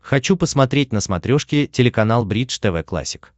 хочу посмотреть на смотрешке телеканал бридж тв классик